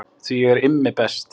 Því ég er Immi best